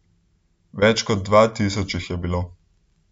Več kot dva tisoč jih je bilo.